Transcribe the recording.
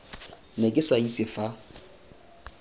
ne ke sa itse fa